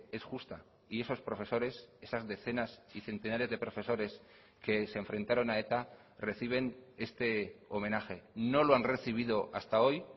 es justa y esos profesores esas decenas y centenares de profesores que se enfrentaron a eta reciben este homenaje no lo han recibido hasta hoy